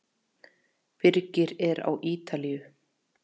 Birgir er á Ítalíu.